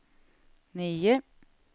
nio